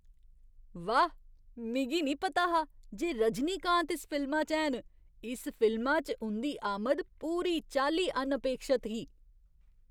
वाह्! मिगी निं पता हा जे रजनीकांत इस फिल्मा च हैन। इस फिल्मा च उं'दी आमद पूरी चाल्ली अनअपेक्षत ही।